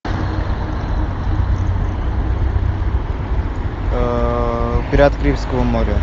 пираты карибского моря